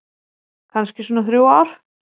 Kannski svona þrjú ár.